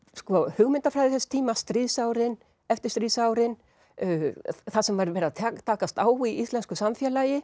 hugmyndafræði þess tíma stríðsárin eftirstríðsárin það sem var verið að takast á í íslensku samfélagi